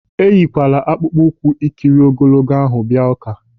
Eyikwala akpụkpọ ụkwụ ikiri ogologo ahụ bịa ụ́ká!